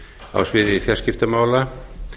á sviði fjarskiptamála